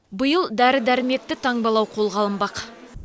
биыл дәрі дәрмекті таңбалау қолға алынбақ